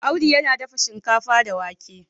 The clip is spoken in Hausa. Audu yana dafa shinkafa da wake